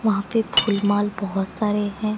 वहां पे फुल माल बहुत सारे हैं।